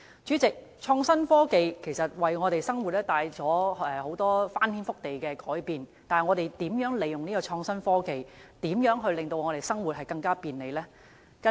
主席，創新科技其實會為我們的生活帶來翻天覆地的改變，但我們可以如何利用創新科技，使我們的生活更便利？